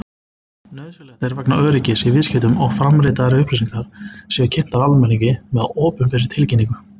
Nauðsynlegt er vegna öryggis í viðskiptum að framanritaðar upplýsingar séu kynntar almenningi með opinberri tilkynningu.